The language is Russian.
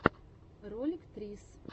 ролик трисс